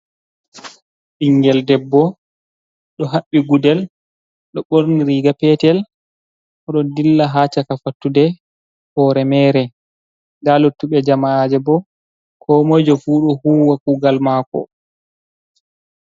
Ɓingel debbo ɗo haɓɓi gudel, ɗo ɓorni riga petel, oɗo dilla ha caka fattude, hore mere. Nda luttu ɓe jama'aje bo ko moi jo fu ɗo huwa kugal mako.